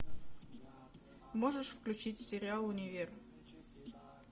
можешь включить сериал универ